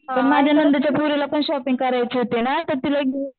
पण माझ्या नंदेच्या पोरीला पण शॉपिंग करायची होती ना तर तिला घेऊन